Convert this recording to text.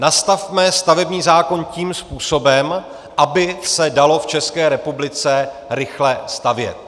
Nastavme stavební zákon tím způsobem, aby se dalo v České republice rychle stavět.